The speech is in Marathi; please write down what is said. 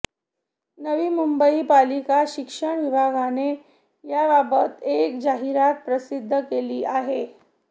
नवी मुंबई पालिका शिक्षण विभागाने याबाबत एक जाहिरात प्रसिद्ध केली आहे